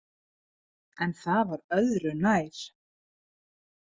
En það var öðru nær!